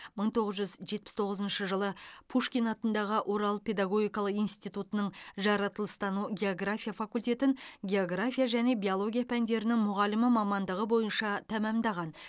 мың тоғыз жүз жетпіс тоғызыншы жылы пушкин атындағы орал педагогикалық институтының жаратылыстану география факультетін география және биология пәндерінің мұғалімі мамандығы бойынша тәмәмдаған